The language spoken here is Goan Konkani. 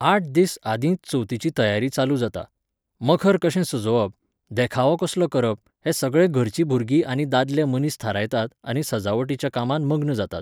आठ दीस आदींच चवथीची तयारी चालू जाता. मखर कशें सजोवप, देखावो कसलो करप हें सगळें घरचीं भुरगीं आनी दादले मनीस थारायतात आनी सजावटीच्या कामांत मग्न जातात